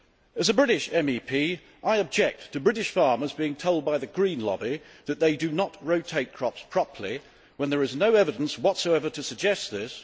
As a British MEP, I object to British farmers being told by the green lobby that they do not rotate crops properly, when there is no evidence whatsoever to suggest this.